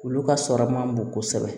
Olu ka sɔrɔ man bon kosɛbɛ